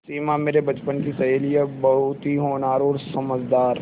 सिमा मेरे बचपन की सहेली है बहुत ही होनहार और समझदार